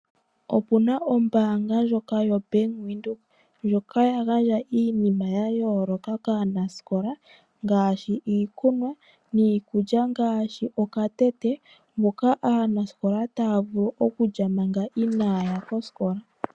Okuna ombaanga ndjoka yaVenduka, ndjoka ya gandja iinima ya yooloka kaanasikola ngaashi iikunwa. Niikulya ngaashi okatete moka aanasikola taya vulu okulya manga inaaya kosikola.